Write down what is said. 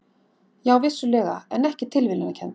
Já, vissulega, en ekki tilviljanakennd.